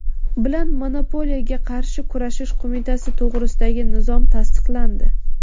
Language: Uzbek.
bilan Monopoliyaga qarshi kurashish qo‘mitasi to‘g‘risidagi nizom tasdiqlandi.